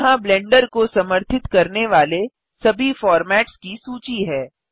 यहाँ ब्लेंडर को समर्थित करने वाले सभी फॉर्मैट्स की सूची है